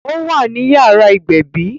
Ó wà ní yàrá ìgbẹ̀bí